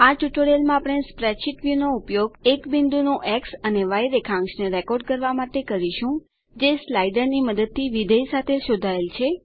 આ ટ્યુટોરીયલમાં આપણે સ્પ્રેડશીટ વ્યુ નો ઉપયોગ એક બિંદુ નું એક્સ અને ય રેખાંશને રેકોર્ડ કરવા માટે કરીશું જે સ્લાઇડર ની મદદથી વિધેય સાથે શોધાયેલ છે